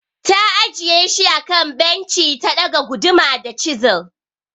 Ta ajiye shi akan benci ta ɗaga guduma da chisil.